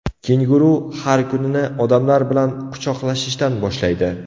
Kenguru har kunini odamlar bilan quchoqlashishdan boshlaydi.